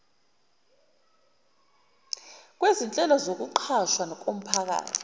kwezinhlelo zokuqashwa komphakathi